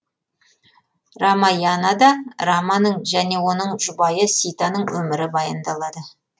рамаянада раманың және оның жұбайы ситаның өмірі баяндалады